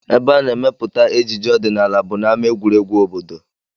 Ebe a na-emepụta ejije ọdịnala bụ n'ama egwuregwu obodo